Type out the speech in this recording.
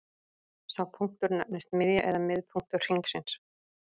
Sá punktur nefnist miðja eða miðpunktur hringsins.